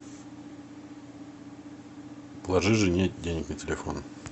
положи жене денег на телефон